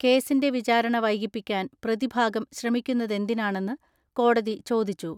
കേസിന്റെ വിചാരണ വൈകിപ്പിക്കാൻ പ്രതിഭാഗം ശ്രമിക്കുന്നതെന്തിനാ ണെന്ന് കോടതി ചോദിച്ചു.